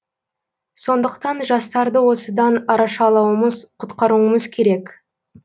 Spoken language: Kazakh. сондықтан жастарды осыдан арашалауымыз құтқаруымыз керек